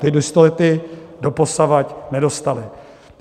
Ty jistoty doposavad nedostali.